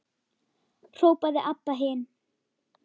hrópaði Abba hin.